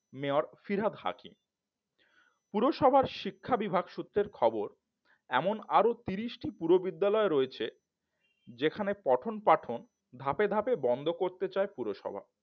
mayor Firhad Hakim পুরসভার শিক্ষা বিভাগ সূত্রের খবর এমন আরো তিরিশ টি পুরো বিদ্যালয় রয়েছে যেখানে পঠন পাঠন ধাপে ধাপে বন্ধ করতে চায় পুরসভা